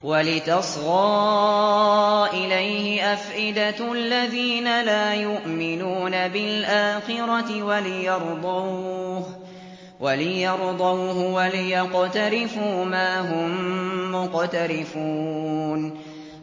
وَلِتَصْغَىٰ إِلَيْهِ أَفْئِدَةُ الَّذِينَ لَا يُؤْمِنُونَ بِالْآخِرَةِ وَلِيَرْضَوْهُ وَلِيَقْتَرِفُوا مَا هُم مُّقْتَرِفُونَ